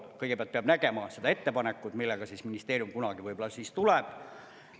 Kõigepealt peab nägema seda ettepanekut, millega ministeerium kunagi võib-olla tuleb.